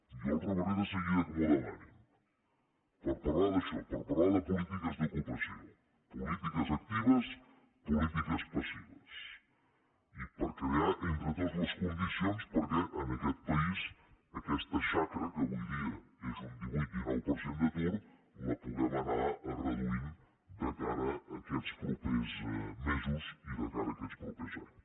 jo els rebré de seguida que m’ho demanin per parlar d’això per parlar de polítiques d’ocupació polítiques actives polítiques passives i per crear entre tots les condicions perquè en aquest país aquesta xacra que avui dia és un divuit dinou per cent d’atur la puguem anar reduint de cara a aquests propers mesos i de cara a aquests propers anys